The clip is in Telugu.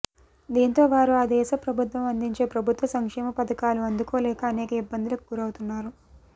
దీంతో వారు ఆ దేశ ప్రభుత్వం అందించే ప్రభుత్వ సంక్షేమ పథకాలు అందుకోలేక అనేక ఇబ్బందులకు గురవుతున్నారు